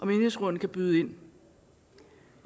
menighedsrådene byde ind